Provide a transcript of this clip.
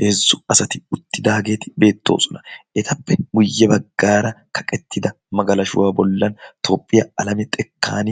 heezzu asati uttidaageeti beettoosona. etappe guyye baggaara kaqettida magalashuwaa bollan toophphiyaa alame xekkan